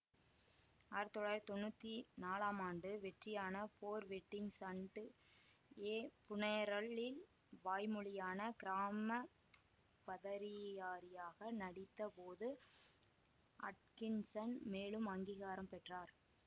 ஆயிரத்தி தொள்ளாயிரத்தி தொன்னூத்தி நாலாம் ஆண்டு வெற்றியான போர் வெட்டிங்க்ஸ் அண்ட் எ புனேரல்லி வாய்மொழியான கிராம பதரியாரியாக நடித்த போது அட்கின்சன் மேலும் அங்கீகாரம் பெற்றார்